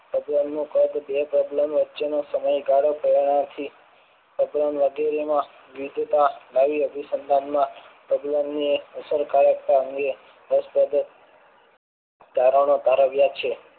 પ્રબલન નું કદ બે પ્રબલન વચ્ચે નો સમયગાળો પહેલાથી પ્રબલન વગેરેમાં જડતા લાવી અતિસંધાનમાં અસરકારકતા હોય તારણો તારવ્યા છે.